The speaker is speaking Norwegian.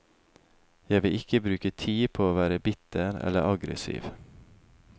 Jeg vil ikke bruke tid på å være bitter eller aggressiv.